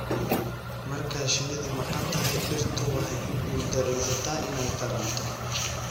Marka shinnidu maqan tahay, dhirtu waxay ku guuldareysataa inay taranto.